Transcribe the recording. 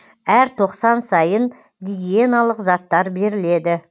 әр тоқсан сайын гигиеналық заттар беріледі